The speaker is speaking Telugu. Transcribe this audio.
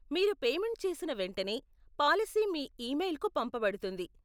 మీరు పేమెంట్ చేసిన వెంటనే, పాలసీ మీ ఇమెయిల్కు పంపబడుతుంది.